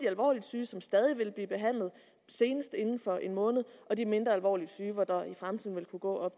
alvorligt syge som stadig vil blive behandlet senest inden for en måned og de mindre alvorligt syge hvor der i fremtiden vil kunne gå